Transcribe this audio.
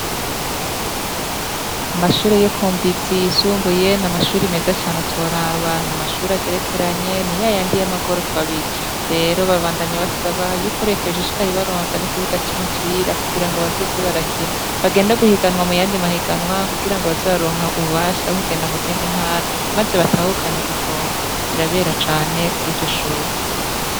Amashure yo kumbizi isumbuye ni amashuri meze cane utoraba ni amashuri agerekeranye ni yayandi y' amagorofa abiri rero babandanya basaba y'uko reta yoshishikara ikabaronsa n'ikibuga c'umupira kugira ngo bazoze barakina bagenda guhiganwa mu yandi mahiganwa kugira ngo baze bararonka ububasha bwo kugenda mu zindi ntara maze batahukane igikombe birabera cane kwiryo shure.